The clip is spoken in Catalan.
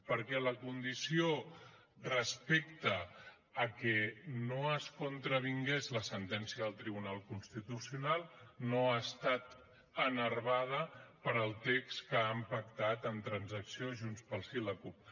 perquè la condició respecte al fet que no es contravingués la sentència del tribunal constitucional no ha estat enervada pel text que han pactat en transacció junts pel sí i la cup